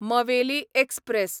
Maveli express